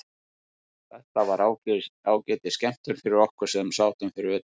Þetta var ágætis skemmtun fyrir okkur sem sátum fyrir utan.